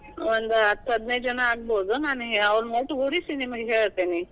ಒಂದ್ ಹತ್ ಹದಿನೈದ ಜನಾ ಆಗ್ಬೋದು, ನಾನ್ ಅವ್ರನ್ ಒಟ್ ಗೂಡಿಸಿ ನಿಮಗೆ ಹೇಳ್ತೇನಿ.